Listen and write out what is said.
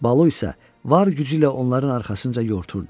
Balu isə var gücü ilə onların arxasınca yorturdu.